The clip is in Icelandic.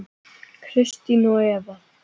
Kristin og Eva.